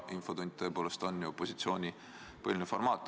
Infotund on tõepoolest opositsiooni põhiline formaat.